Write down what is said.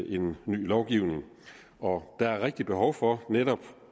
en ny lovgivning og der er rigtig behov for netop